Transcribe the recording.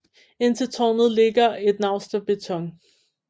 Ind til tårnet ligger et naust af beton